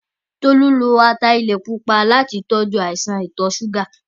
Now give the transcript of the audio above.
Tolú lo ataalẹ̀ pupa láti tọjú àìsàn ìtọ̀-súgà.